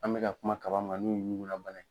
An bɛka kuma kaba min kan n'u ye ɲugula bana ye.